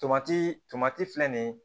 Tomati tomati filɛ nin ye